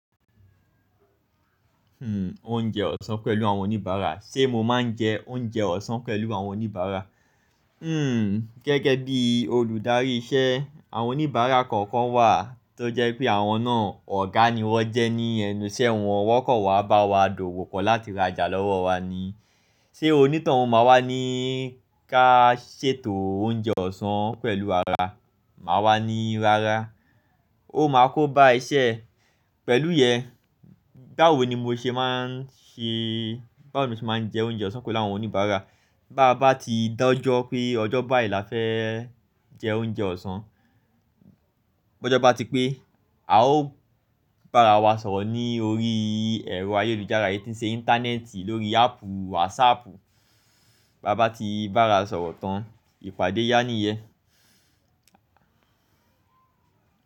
Hmm, oúnjẹ ọ̀sán pẹ̀lú àwọn oníbàárà. Sé mo máa ń jẹ oúnjẹ ọ̀sán pẹ̀lú àwọn oníbàárà? Hmm, gẹ́gẹ́ bí olùdarí iṣẹ́, àwọn oníbàárà kọ̀ọ̀kan wà tó jẹ́ pé àwọn náà ọ̀gá ni wọ́n jẹ́ ní ẹnu iṣẹ́ wọn, wọ́n kọ̀ wa bá wa dòwò pọ̀ láti rajà lọ́wọ́ wa ni. Ṣé oní toun o máa wá ní ká ṣètò oúnjẹ ọ̀sán pẹ̀lú ara, màá wá ní rárá. Ó máa kó bá iṣẹ. Pẹ̀lú yẹn, báwo ni mo ṣe máa ń ṣe, báwo ni mo ṣe máa ń jẹ oúnjẹ ọ̀sán pẹ̀lú àwọn oníbàárà? Bá bá ti dájọ́ pé, ọjọ́ báì lá fẹ́ jẹ oúnjẹ ọ̀sán, bọ́jọ́ bá ti pé, a ó bá ara wa sọ̀rọ̀ ní orí ẹ̀rọ ayélujára yìí tí ń ṣe Íńtánẹ́ẹ̀tì lórí áàpù Whatsapp. Bá bá ti bá ara sọ̀rọ̀ tán, ìpàdé yá níyẹ́n.